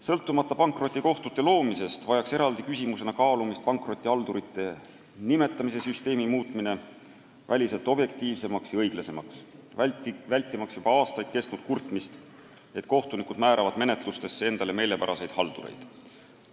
Sõltumata pankrotikohtute loomisest vajaks aga eraldi küsimusena kaalumist pankrotihaldurite nimetamise süsteemi muutmine väliselt objektiivsemaks ja õiglasemaks, vältimaks juba aastaid kestnud kurtmist, et kohtunikud määravad menetlustesse endale meelepäraseid haldureid.